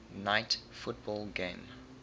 night football game